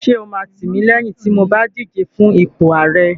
Ṣé o máa tìmílẹ́yìn tí mo bá díje fún ipò ààrẹ?